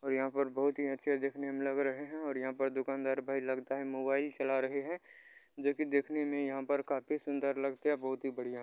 और यहां पर बहुत ही अच्छे दिखने में लग रहे है और यहां पर दुकानदार भाई लगता है मोबाइल चला रहे है जोकि देखने में यहां पर काफी सुंदर लगता है बोहत ही बढ़िया है।